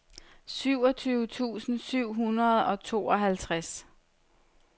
syvogtyve tusind syv hundrede og tooghalvtreds